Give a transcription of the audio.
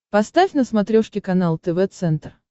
поставь на смотрешке канал тв центр